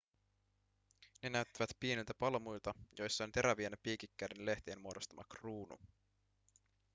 ne näyttävät pieniltä palmuilta joissa on terävien piikikkäiden lehtien muodostama kruunu